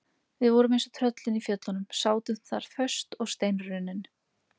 Við vorum eins og tröllin í fjöllunum, sátum þar föst og steinrunnin.